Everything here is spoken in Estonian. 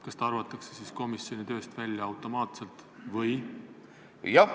Kas ta arvatakse siis automaatselt komisjoni tööst välja või kuidas?